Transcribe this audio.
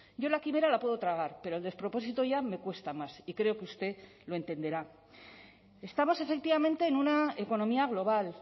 yo la quimera la puedo tragar pero el despropósito ya me cuesta más y creo que usted lo entenderá estamos efectivamente en una economía global